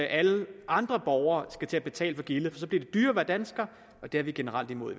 alle andre borgere skal til at betale for gildet for så bliver det dyrere at være dansker og det er vi generelt imod